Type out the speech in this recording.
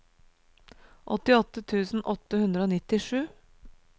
åttiåtte tusen åtte hundre og nittisju